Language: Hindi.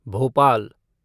भोपाल